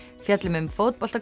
fjöllum um